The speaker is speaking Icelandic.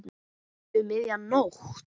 Um miðja nótt?